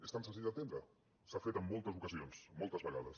és tan senzill d’entendre s’ha fet en moltes ocasions moltes vegades